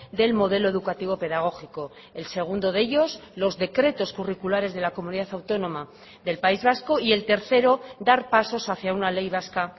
del modelo educativo pedagógico el segundo de ellos los decretos curriculares de la comunidad autónoma del país vasco y el tercero dar pasos hacia una ley vasca